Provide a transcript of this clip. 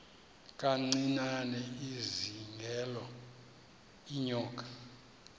kancinane izingela iinyoka